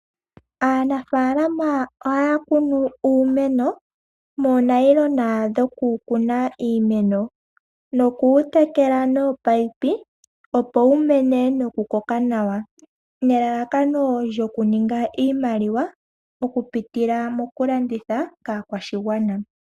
Aanafaalama ohaya kunu uumeno moonayilona dhoku kuna iimeno noku wu tekela nominino, opo wu mene noku koka nawa nelalakano lyokuninga iimaliwa oku pitila moku landitha kaakwashigwana.